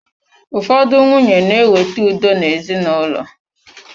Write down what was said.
Ụfọdụ nwunye na ewete udo na ezinaụlọ.